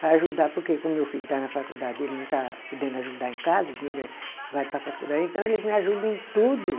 Para ajudar, porque como meu filho está na faculdade, ele não está podendo ajudar em casa, o dinheiro é vai para a faculdade, então eles me ajuda em tudo.